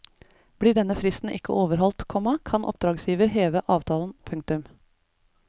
Blir denne fristen ikke overholdt, komma kan oppdragsgiver heve avtalen. punktum